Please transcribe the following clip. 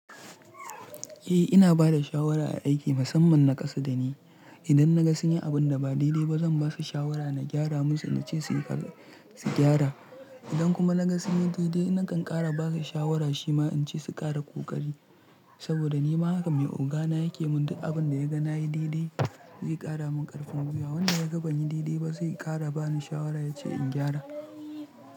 Eh ina bada shawara a aiki musamman na kasa da ni. Idan na ga sun yi abun da ba daidai ba zan ba su shawara na gyara musu na ce su gyara. Idan kuma na ga sun yi daidai nakan ƙara ba su shawara shima in ce su ƙara ƙoƙari. Saboda ni ma haka mai ogana yake mun duk abun da ya ga na yi daidai, zai ƙara mun ƙarfin gwiwa. Wanda ya ga ban yi daidai ba sai ƙara ba ni shawara ya ce in gyara.